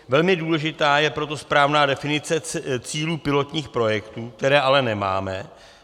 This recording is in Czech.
Velmi důležitá je proto správná definice cílů pilotních projektů, které ale nemáme.